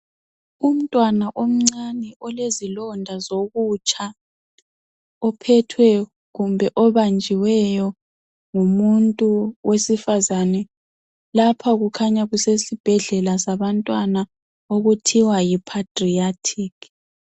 Umntwana omncane olezilonda zokutsha ophethweyo kumbe obanjiweyo ngumuntu wesifazana. Lapha kukhanya kusesibhedlela sabantwana okuthiwa yi-pediatric